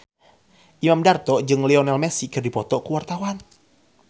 Imam Darto jeung Lionel Messi keur dipoto ku wartawan